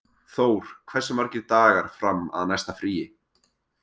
Þór, hversu margir dagar fram að næsta fríi?